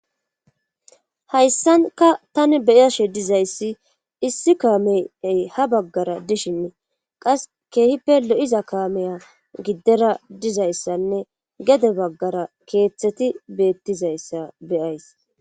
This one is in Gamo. Hayssanka tani beyashe dizayssi issi kaameey ha baggara dishinnii qas keehippe lo7iza kaameya giddera dizayssanne gede baggara keeththeti beettizayssa beyays